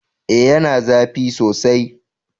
E, yana zafi sosai.